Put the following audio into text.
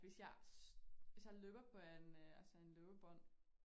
Hvis jeg hvis jeg løber på en øh altså en løbebånd